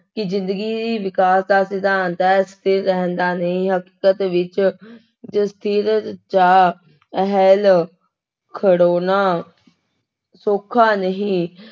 ਕਿ ਜ਼ਿੰਦਗੀ ਵਿਕਾਸ ਦਾ ਸਿਧਾਂਤ ਹੈ, ਸਥਿਰ ਰਹਿਣ ਦਾ ਨਹੀਂ ਵਿੱਚ ਚ ਸਥਿਰ ਜਾਂ ਹਿੱਲ ਖੜੋਨਾ ਸੌਖਾ ਨਹੀਂ,